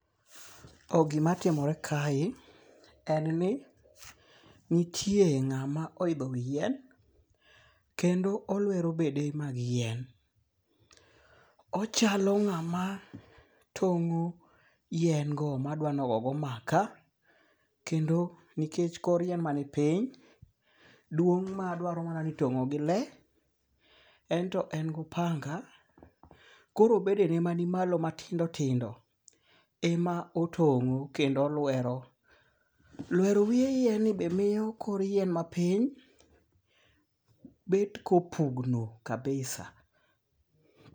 Gima timore kae en ni nitie ng'ama oidho wi yien. Kendo olwero bede mag yien. Ochalo ng'ama tong'o yien go madwano ogogo maka. Kendo nikech kor yien ma ni piny, duong' madwaro mana ni itong'o gi le. En to en gopanda. Koro bedene manimalo matindo tindo ema otong'o kendo olwero. Lwero wiye yien ni be miyo kor yien mapiny bet kopugno kabisa.